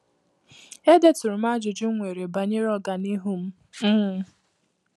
E deturum ajụjụ nwere banyere ọganihu m. um